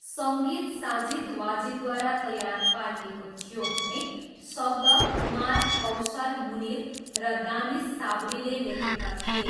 सङ्गीत साजिद वाजिदद्वारा तयार पारिएको थियो भने शब्द कुमार, कौसर मुनिर र दानिस साबरीले लेखेका थिए।